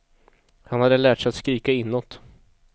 Han hade lärt sig att skrika inåt.